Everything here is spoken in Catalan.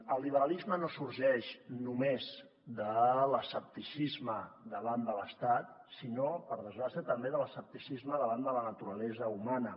el liberalisme no sorgeix només de l’escepticisme davant de l’estat sinó per desgràcia també de l’escepticisme davant de la naturalesa humana